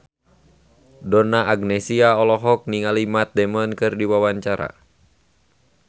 Donna Agnesia olohok ningali Matt Damon keur diwawancara